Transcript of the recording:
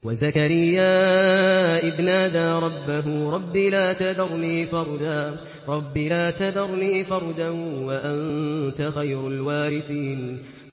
وَزَكَرِيَّا إِذْ نَادَىٰ رَبَّهُ رَبِّ لَا تَذَرْنِي فَرْدًا وَأَنتَ خَيْرُ الْوَارِثِينَ